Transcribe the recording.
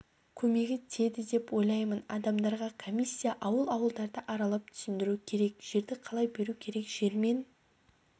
көмегі тиеді деп ойлаймын адамдарға комиссия ауыл-ауылдарды аралап түсіндіру керек жерді қалай беру керек жермен